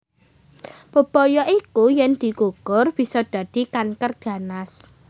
Bebaya iku yen dikukur bisa dadi kanker ganas